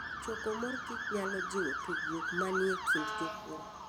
Choko mor kich nyalo jiwo tudruok manie kind jopur.